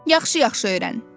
Yaxşı-yaxşı öyrən.